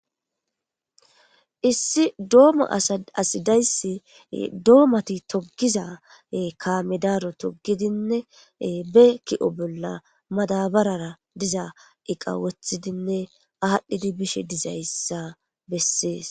Issi doma asi daysi domato togiza kame daro togidinne be ki'o bola madabarara diza eqa wothidinne adhidi bishe dizaysa beses